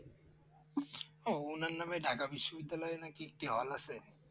উনার নামে ঢাকা বিশ্ববিদ্যালয় একটি হল আছে